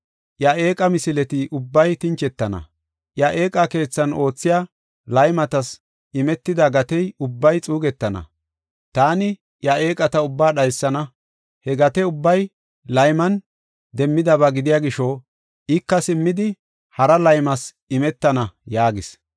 Iya eeqa misileti ubbay tinchetana; iya eeqa keethan oothiya laymatas imetida gatey ubbay xuugetana; taani iya eeqata ubbaa dhaysana. He gate ubbay layman demmidaba gidiya gisho, ika simmidi, hara laymas imetana” yaagees.